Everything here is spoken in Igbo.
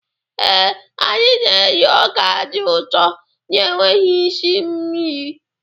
Ee, anyị na-eri ọka dị ụtọ na-enweghị isi nri.